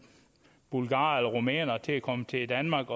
bulgarere eller rumænere til at komme til danmark